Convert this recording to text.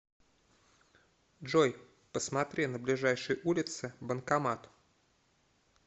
джой посмотри на ближайшей улице банкомат